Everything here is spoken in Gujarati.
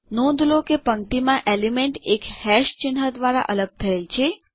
નોંધ લો કે પંક્તિમાં એલિમેન્ટ એક હેશ ચિહ્ન દ્વારા અલગ થયેલ છે